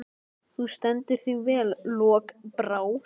Þú stendur þig vel, Lokbrá!